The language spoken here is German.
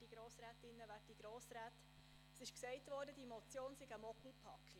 Es wurde gesagt, die Motion sei eine Mogelpackung.